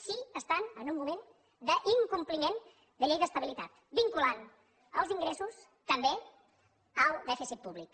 si estan en un moment d’incompliment de llei d’estabilitat vinculant els ingressos també al dèficit públic